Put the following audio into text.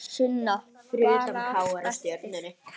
Sunna: Bara allt eftir?